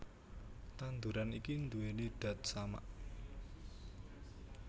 Tanduran iki nduwèni dat samak